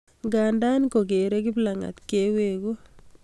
Nganda kokerei kiplangat keweku